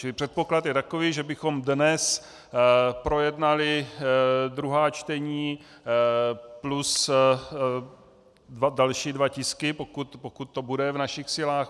Čili předpoklad je takový, že bychom dnes projednali druhá čtení plus další dva tisky, pokud to bude v našich silách.